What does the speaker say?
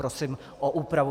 Prosím o úpravu.